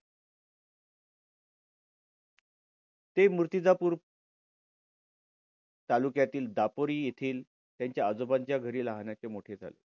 ते मुर्तीदापूर तालुक्यातील दापोरी येथील त्यांच्या आजोबांच्या घरी लहानाचे मोठे झाले.